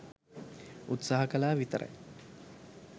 උත්සාහ කලා විතරයි.